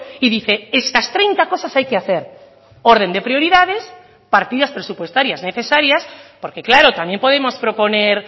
y dice estas treinta cosas hay que hacer orden de prioridades partidas presupuestarias necesarias porque claro también podemos proponer